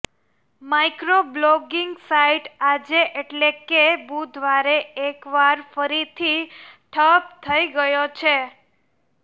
microblogging site આજે એટલે કે બુધવારે એકવાર ફરીથી ઠપ થઈ ગયો છે